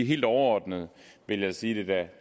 helt overordnet vil jeg sige at